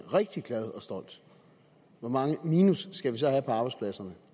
rigtig glad og stolt hvor meget minus skal vi så have på arbejdspladserne